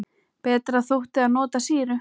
Betra þótti að nota sýru.